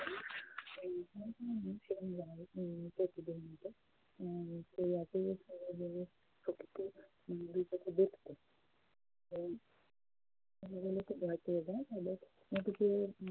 দেখতে খুব ভয়ে পেয়ে যায় মেয়েটিকে